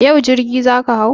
Yau jirgi za ka hau?